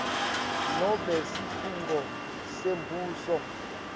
nobe sikhungo sembuso